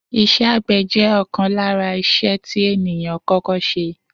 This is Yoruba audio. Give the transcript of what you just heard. Is̩é̩ àgbè̩ jé̩ ò̩kan lára is̩e̩ tí ènìyàn kó̩kó̩ s̩e